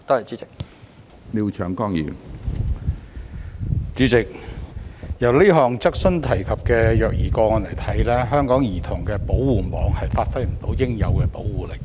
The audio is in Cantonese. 主席，從這項質詢提及的虐兒個案看來，香港的兒童保護網未能發揮應有的保護力。